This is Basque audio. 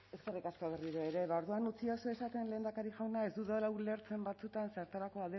eskerrik asko berriro ere ba orduan utzidazu esaten lehendakari jauna ez dudala ulertzen batzuetan zertarako